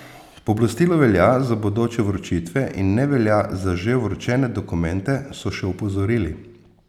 Pooblastilo velja za bodoče vročitve in ne velja za že vročene dokumente, so še opozorili.